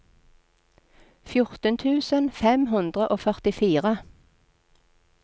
fjorten tusen fem hundre og førtifire